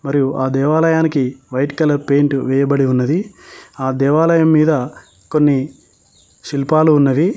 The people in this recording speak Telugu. మరియు ఆ దేవాలయానికి వైట్ కలర్ పెయింటూ వేయబడి ఉన్నది ఆ దేవాలయం మీద కొన్ని శిల్పాలు ఉన్నవి.